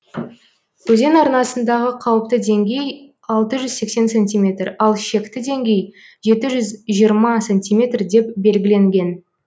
өзен арнасындағы қауіпті деңгей алты жүз сексен сантиметр ал шекті деңгей жеті жүз жиырма сантиметр деп белгіленген